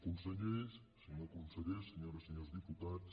consellers senyor conseller senyores i senyors diputats